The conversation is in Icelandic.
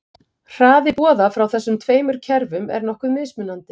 Hraði boða frá þessum tveimur kerfum er nokkuð mismunandi.